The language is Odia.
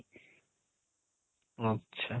ଆଚ୍ଛା